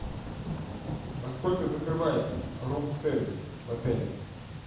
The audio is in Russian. во сколько закрывается рум сервис в отеле